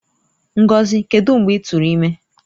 Ngozi, kedu mgbe i turu imi?